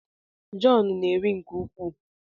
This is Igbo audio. John na-eri nke ukwuu